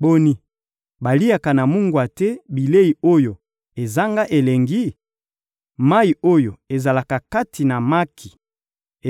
Boni, baliaka na mungwa te bilei oyo ezanga elengi? Mayi oyo ezalaka kati na maki